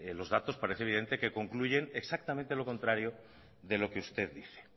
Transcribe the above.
los datos parece evidente que concluyen exactamente lo contrario de lo que usted dice